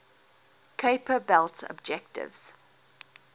kuiper belt objects